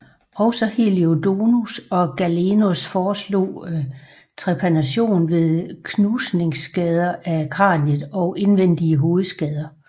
Også Heliodorus og Galenos foreslog trepanation ved knusningsskader af kraniet og indvendige hovedskader